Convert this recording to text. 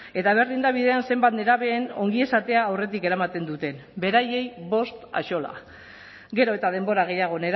eta berdin da bidean zenbat nerabeen ongizatea aurretik eramaten duten beraiei bost axola gero eta denbora gehiago